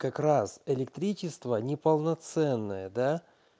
как раз электричество неполноценное да